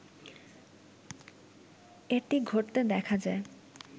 এটি ঘটতে দেখা যায়